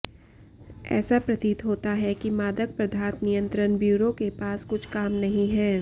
ऐसा प्रतीत होता है कि मादक पदार्थ नियंत्रण ब्यूरो के पास कुछ काम नहीं है